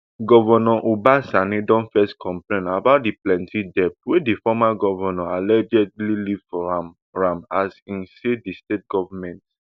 governor uba sani don first complain about di plenti debt wey di former govnor allegedly leave for am am as im say di state goment